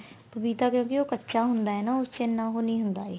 ਪਪੀਤਾ ਕਿਉਂਕਿ ਉਹ ਕੱਚਾ ਹੁੰਦਾ ਏ ਨਾ ਉਸ ਚ ਇੰਨਾ ਉਹ ਨੀ ਹੁੰਦਾ ਏ